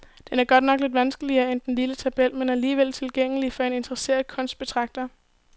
Den er godt nok lidt vanskeligere end den lille tabel, men alligevel tilgængelig for en interesseret kunstbetragter.